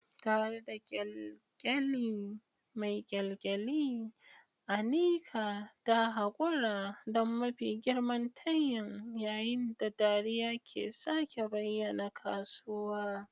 Tare da kyalkyali mai kyalkyali, Anika ta haƙura don mafi girman tayin yayin da dariya ke sake bayyana kasuwa.